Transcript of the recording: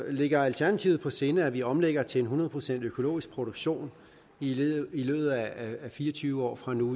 ligger alternativet på sinde at vi omlægger til hundrede procent økologisk produktion i løbet af fire og tyve år fra nu